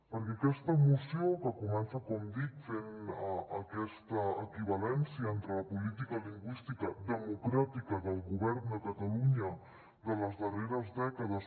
perquè aquesta moció que comença com dic fent aquesta equivalència entre la política lingüística democràtica del govern de catalunya de les darreres dècades